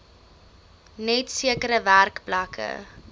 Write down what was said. net sekere werkplekke